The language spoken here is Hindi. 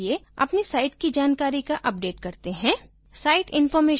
लेकिन अभी के लिए अपनी site की जानकारी को अपडेट करते हैं